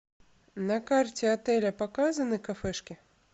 на карте отеля показаны кафешки